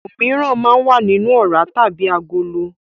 Òmíràn máa ń wà nínú ọ̀rá tàbí agolo.